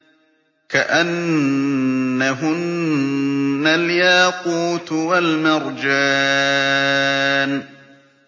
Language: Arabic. كَأَنَّهُنَّ الْيَاقُوتُ وَالْمَرْجَانُ